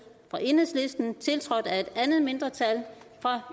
tiltrådt af et andet mindretal